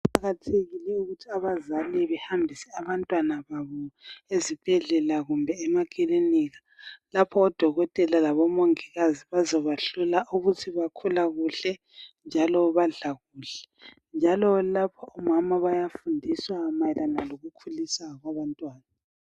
Kuqakathekile ukuthi abazali behambise abantwana babo ezibhedlela kumbe emakilinika lapho odokotela labomongikazi bazabahlola ukut baphila kuhle njalo badla kuhle njalo lapha omama bayafundiswa mayelana lokukhuliswa kwabantwana.